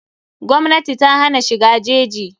Gwmnati ta hana shiga jeji.